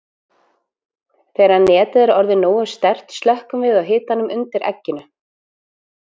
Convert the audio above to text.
þegar netið er orðið nógu sterkt slökkvum við á hitanum undir egginu